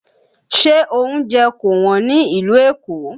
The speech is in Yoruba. Ṣé oúnjẹ kò Wọ́n ní ìlú Èkó?